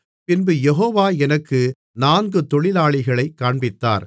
பின்பு யெகோவா எனக்கு நான்கு தொழிலாளிகளைக் காண்பித்தார்